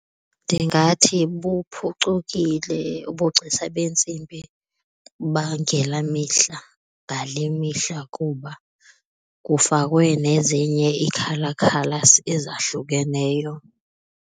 Ndingathi buphucukile ubugcisa beentsimbi bangela mihla ngale mihla kuba kufakwe nezinye ii-colour colours ezahlukeneyo.